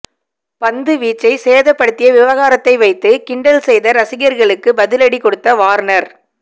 பந்துவீச்சை சேதப்படுத்திய விவகாரத்தை வைத்து கிண்டல் செய்த ரசிகர்களுக்கு பதிலடி கொடுத்த வார்னர்